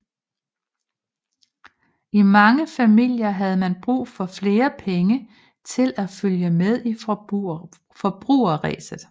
I mange familier havde man brug for flere penge til at følge med i forbrugerræset